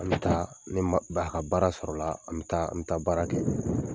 Am taa ne ma ba ka baara sɔrɔla, am taa, am taa baara kɛ.